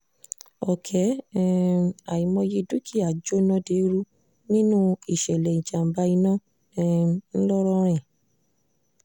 ọ̀kẹ́ um àìmọye dúkìá jóná deérú nínú ìṣẹ̀lẹ̀ ìjàm̀bá iná um ńlọ́rọ́rìn